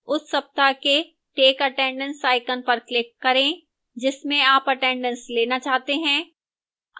उस सप्ताह के take attendance icon पर click करें जिसमें आप attendanceलेना चाहते हैं